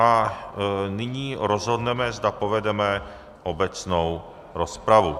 A nyní rozhodneme, zda povedeme obecnou rozpravu.